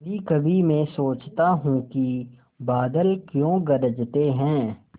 कभीकभी मैं सोचता हूँ कि बादल क्यों गरजते हैं